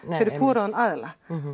fyrir hvorugan aðilann